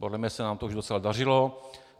Podle mě se nám to už docela dařilo.